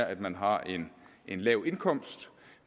at man har en lav indkomst